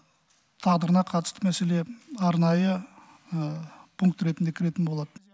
тағдырына қатысты мәселе арнайы пункт ретінде кіретін болады